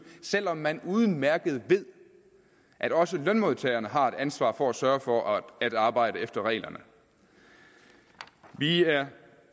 selv om man udmærket ved at også lønmodtagerne har et ansvar for at sørge for at arbejde efter reglerne vi er